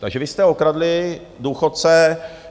Takže vy jste okradli důchodce.